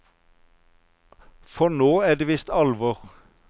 For nå er det visst alvor.